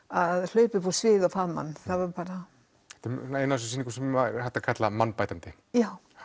að hlaupa upp á svið og faðma hann þetta er ein af þessum sýningum sem hægt er að kalla mannbætandi já